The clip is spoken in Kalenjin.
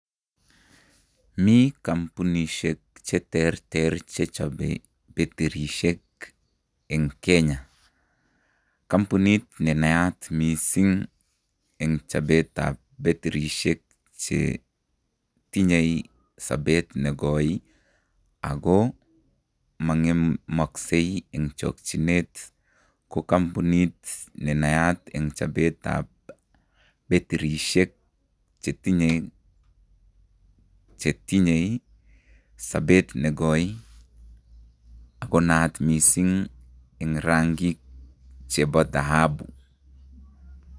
Mi kampunisiek cheterter chechobe betirisiek en Kenya. Kampunit nenanyat misisng en chobet ab betirisiek chetinye sobet nekoi ako mong'emoksei en chokyinet.